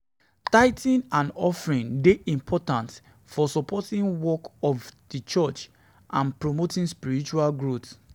Tithing and offering dey important for supporting di work of di church and promoting spiritual growth.